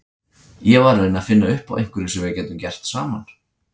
Ég var að reyna að finna upp á einhverju sem við gætum gert saman.